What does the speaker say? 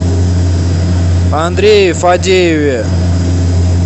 андрее фадееве